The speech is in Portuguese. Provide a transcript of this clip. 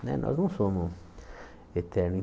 Né nós não somos eternos.